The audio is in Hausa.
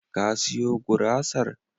Ka siyo gurasar?